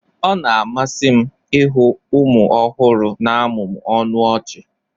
ọ na-amasị m ịhụ ụmụ ọhụrụ na-amụmụ ọnụ ọchị